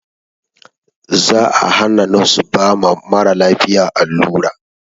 Za a hana nos ba ma maralafiya allura